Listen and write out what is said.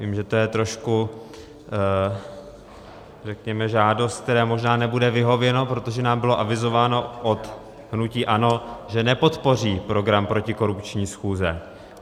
Vím, že to je trošku, řekněme, žádost, které možná nebude vyhověno, protože nám bylo avizováno od hnutí ANO, že nepodpoří program protikorupční schůze.